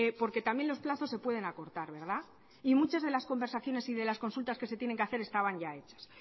porque también los plazos se pueden acortar verdad y muchas de las conversaciones y de las consultas que se tienen que hacer estaban ya hechas